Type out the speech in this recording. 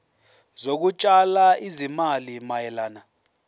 zokutshala izimali mayelana